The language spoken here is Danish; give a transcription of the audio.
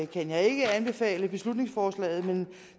kan jeg ikke anbefale beslutningsforslaget men